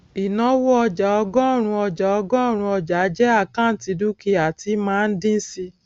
ìnáwó ọjàọgọrun ọjàọgọrun ọjàjẹ àkọùntì dúkìá tí máa ń dín síi